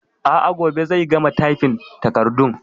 A'a, gobe zai gama tyfin takardun